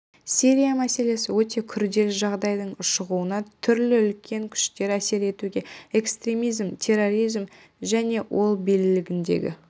сирия мәселесі өте күрделі жағдайдың ушығуына түрлі үлкен күштер әсер етуде экстремизм терроризм және ел билігіндегі